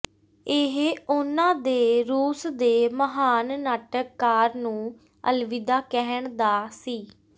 ਇਹ ਉਨ੍ਹਾਂ ਦੇ ਰੂਸ ਦੇ ਮਹਾਨ ਨਾਟਕਕਾਰ ਨੂੰ ਅਲਵਿਦਾ ਕਹਿਣ ਦਾ ਸੀ